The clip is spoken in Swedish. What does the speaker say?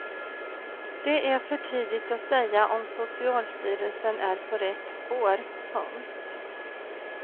Det är för tidigt att säga om socialstyrelsen är på rätt spår. punkt